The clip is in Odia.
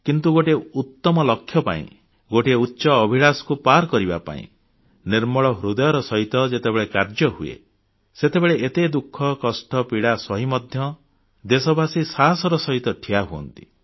କିନ୍ତୁ ଗୋଟିଏ ଉତ୍ତମ ଲକ୍ଷ୍ୟ ପାଇଁ ଗୋଟିଏ ଉଚ୍ଚ ଅଭିଳାଷକୁ ହାସଲ କରିବା ପାଇଁ ନିର୍ମଳ ହୃଦୟରେ ଯେତେବେଳେ କାର୍ଯ୍ୟ ହୁଏ ସେତେବେଳେ ଏତେ ଦୁଃଖ କଷ୍ଟ ପୀଡ଼ା ସହି ମଧ୍ୟ ଦେଶବାସୀ ସାହସର ସହିତ ଠିଆ ହୁଅନ୍ତି